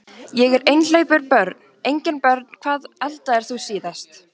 Ég er einhleypur Börn: Engin börn Hvað eldaðir þú síðast?